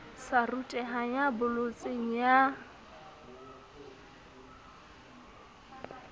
sa rutehang ya bolotseng ya